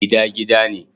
Gida gida ne